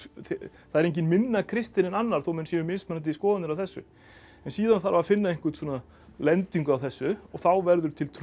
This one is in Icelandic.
það er enginn minna kristinn en annar þó menn hafi mismunandi skoðanir á þessu en síðan þarf að finna einhverja lendingu á þessu og þá verður til trú